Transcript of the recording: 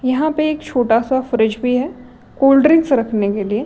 यहाँ पे एक छोटा सा फ्रिज भी है कोल्ड ड्रिंक्स रखने के लिए।